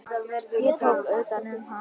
Ég tók utan um hana.